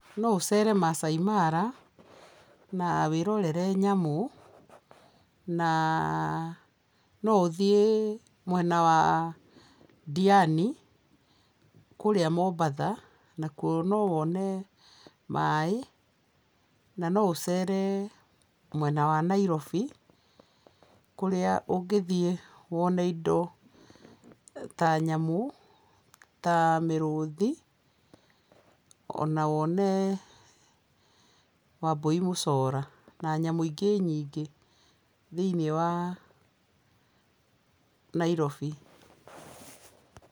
No ũcere Masai Mara na wĩrorere nyamũ na no ũthiĩ mwena wa Diani kũrĩa Mombatha nakuo no wone maaĩ na no ũcere mwena wa Nairobi kũrĩa ũngĩthiĩ wone indo ta nyamũ ta mĩrũthi o na wone wambũi mũcora na nyamũ ingĩ nyingĩ thĩiniĩ wa Nairobi.